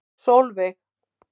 Sólveig